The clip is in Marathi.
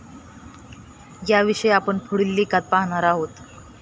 याविषयी आपण पुढील लेखात पाहणार आहोत.